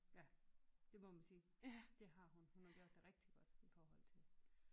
Ja det må man sige det har hun. Hun har gjort det rigtig godt i forhold til